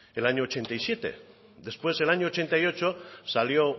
el año ochenta y siete después el año ochenta y ocho salió